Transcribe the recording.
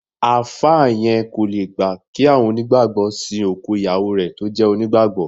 Àáfà yẹn kò le gbà kí àwọn onígbàgbọ́ sìn òkú ìyàwó rẹ tó jẹ́ onígbàgbọ́